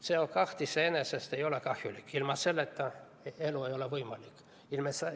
CO2 iseenesest ei ole kahjulik, ilma selleta elu ei ole võimalik.